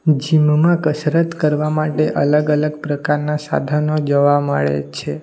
Gym માં કસરત કરવા માટે અલગ અલગ પ્રકારના સાધનો જોવા મળે છે.